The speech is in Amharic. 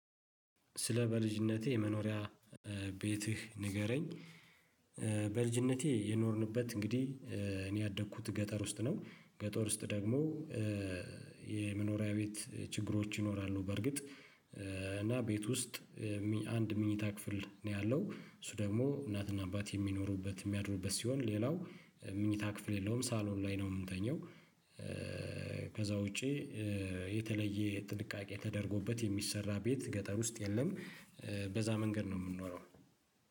ስለ በልጅነቴ የመኖሪያ ቤትህ ንገረኝ በልጅነቴ የኖርንበት እንግዲህ እኔ ያደግኩት ገጠር ውስጥ ነው ገጠር ውስጥ ደግሞ የመኖሪያ ቤት ችግሮች ይኖራሉ በርግጥ እና ቤት ውስጥ አንድ ምኞታ ክፍል ነው ያለው እሱ ደግሞ እናትና አባት የሚኖሩበት የሚያድሩበት ሲሆን ሌላው መኝታ ክፍል የለውም ሳሎን ላይ ነው የምንተኘው ውጪ የተለየ ጥንቃቄ ተደርጎበት የሚሰራ ቤት ገጠር ውስጥ የለም በዛ መንገድ ነው የምንኖረው።